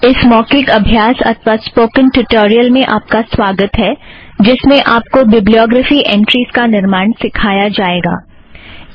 इस मौखिक अभ्यास अथ्वा स्पोकन ट्युटोरियल में आप का स्वागत है जिसमें आप को बिब्लीयोग्रफ़ी एंट्रीज़ का निर्माण सिखाया जाएगा